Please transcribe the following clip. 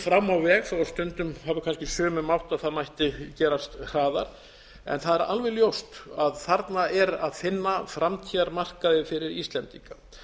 fram á veg þó stundum hafi kannski sumum mátt að það mætti gerast hraðar það er alveg ljóst að þarna er að finna framtíðarmarkaði fyrir íslendinga